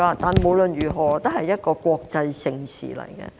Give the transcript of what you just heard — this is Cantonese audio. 但是，無論如何，這也是一項國際盛事。